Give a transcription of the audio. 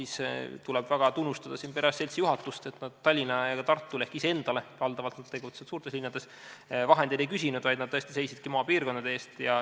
Tuleb väga tunnustada perearstide seltsi juhatust, et nad ei küsinud vahendeid Tallinnale ja Tartule ehk iseendale – nad tegutsevad valdavalt suurtes linnades –, vaid seisidki tõesti maapiirkondade eest.